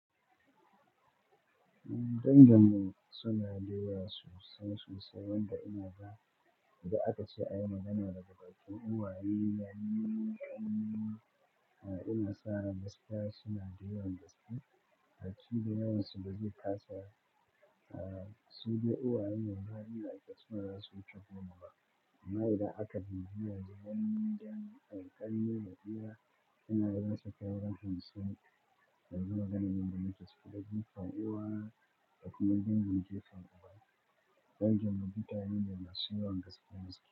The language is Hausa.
Danginmu suna duba sosai sosai wanda ina ga idan aka ce a yi magana da gaba a cikin uwaye, yana sa gaskiya suna duba gaskiya. A cikin yawan su bazai kasa ba. Su je uwaye, mun gani da aiki suna so su ci gaba. Amma idan aka bibiya gidan, gidan alƙali na biya, yana rasa kyawun hannun sa. Yanzu maganan da na yi gaskiya, zai fi ƙwaƙiwa da kuma jan gaske faɗuwa. Dan jami'a ya yi nadashi wanda gaskiya ne suka yi.